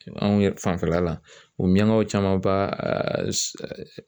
Anw yɛrɛ fanfɛla la u miɲankaw camanba